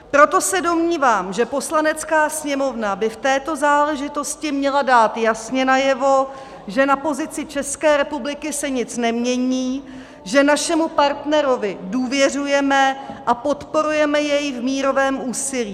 Proto se domnívám, že Poslanecká sněmovna by v této záležitosti měla dát jasně najevo, že na pozici České republiky se nic nemění, že našemu partnerovi důvěřujeme a podporujeme jej v mírovém úsilí.